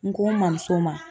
N ko n mamuso ma